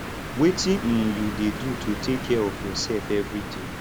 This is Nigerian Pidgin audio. wetin um you dey do to take care of your self everyday